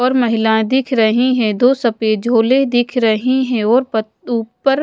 और महिलाएं दिख रही हैं दो सफेद झोले दिख रहे है और प ऊपर--